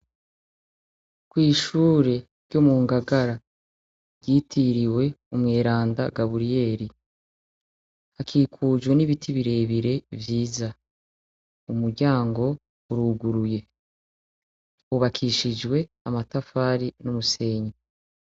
Kw'Ishure ryo Mungagara ryitiriwe umweranda Gaburiyeri hakikujwe n'ibiti birebire vyiza, umuryango uruguruye, hubakishijwe amatafari n'umusenyi.